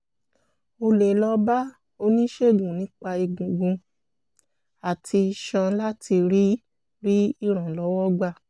o lè lọ bá oníṣègùn nípa egungun àti iṣan láti rí rí ìrànlọ́wọ́ gbà